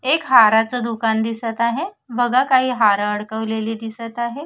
एक हाराच दुकान दिसत आहे बघा काही हार अडकवलेली दिसत आहे.